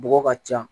Bɔgɔ ka ca